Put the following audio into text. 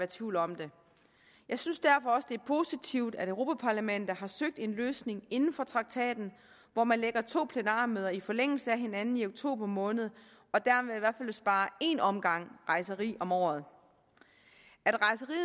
tvivl om det jeg synes derfor også det er positivt at europa parlamentet har søgt en løsning inden for traktaten hvor man lægger to plenarmøder i forlængelse af hinanden i oktober måned og sparer en omgang rejseri om året